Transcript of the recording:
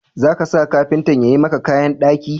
Za ka sa kafintan ya yi maka kayan daki.